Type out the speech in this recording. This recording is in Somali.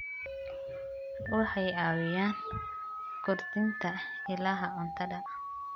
Waxay caawiyaan kordhinta ilaha cuntada.